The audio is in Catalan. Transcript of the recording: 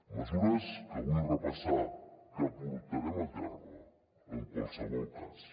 mesures que vull repassar que portarem a terme en qualsevol cas